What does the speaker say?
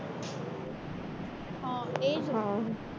હ એ જ ને